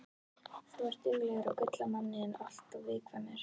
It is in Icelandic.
Þú ert duglegur og gull af manni en alltof viðkvæmur.